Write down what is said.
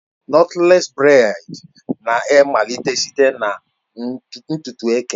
Nọtlés breị́d na-amalite site na ntutu eke